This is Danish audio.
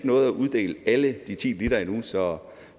nået at uddele alle de ti liter endnu så